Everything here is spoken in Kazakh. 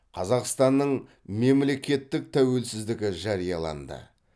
қазақстанның мемлекеттік тәуелсіздігі жарияланды